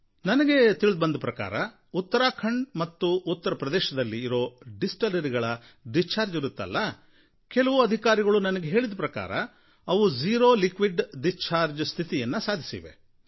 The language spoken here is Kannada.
ನನಗೆ ತಿಳಿದುಬಂದ ಪ್ರಕಾರ ಉತ್ತರಾಖಂಡ್ ಮತ್ತು ಉತ್ತರ ಪ್ರದೇಶದಲ್ಲಿ ಇರೋ ಡಿಸ್ಟಿಲರಿಗಳ ಡಿಸ್ಚಾರ್ಜ್ ಇರುತ್ತಲ್ಲ ಕೆಲವು ಅಧಿಕಾರಿಗಳು ನನಗೆ ಹೇಳಿದ ಪ್ರಕಾರ ಅವು ಜೀರೋ ಲಿಕ್ವಿಡ್ ಡಿಸ್ಚಾರ್ಜ್ ಸ್ಥಿತಿಯನ್ನು ಸಾಧಿಸಿವೆ